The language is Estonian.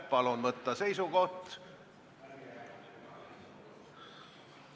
Palun võtta seisukoht ...